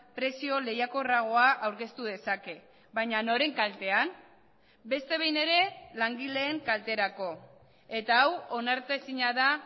prezio lehiakorragoa aurkeztu dezake baina noren kaltean beste behin ere langileen kalterako eta hau onartezina da